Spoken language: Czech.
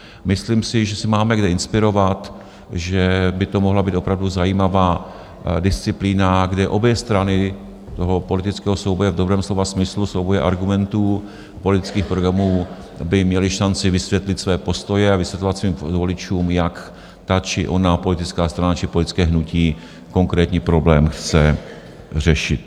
Myslím si, že se máme kde inspirovat, že by to mohla být opravdu zajímavá disciplína, kde obě strany toho politického souboje, v dobrém slova smyslu, souboje argumentů, politických programů, by měly šanci vysvětlit své postoje a vysvětlovat svým voličům, jak ta či ona politická strana či politické hnutí konkrétní problém chce řešit.